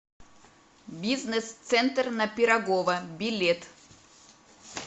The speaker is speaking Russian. бизнес центр на пирогова билет